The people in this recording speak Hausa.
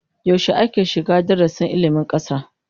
Yaushe ake shiga darasin ilmin kasa?